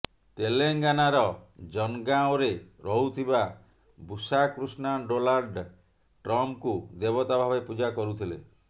ତେଲେଙ୍ଗାନାର ଜନଗାଁଓରେ ରହୁଥିବା ବୁସା କୃଷ୍ଣା ଡୋନାଲ୍ଡ ଟ୍ରମ୍ପଙ୍କୁ ଦେବତା ଭାବେ ପୂଜା କରୁଥିଲେ